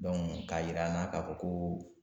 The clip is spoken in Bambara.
k'a jir'an na k'a fɔ ko